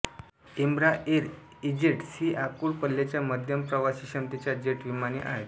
Embraer E Jets ही आखूड पल्ल्याच्या मध्यम प्रवासीक्षमतेच्या जेट विमाने आहेत